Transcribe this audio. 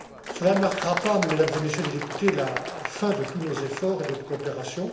Cela ne marquera pas, Mesdames et Messieurs les députés, la fin de tous nos efforts et de notre coopération.